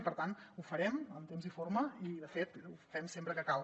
i per tant ho farem en temps i forma i de fet ho fem sempre que cal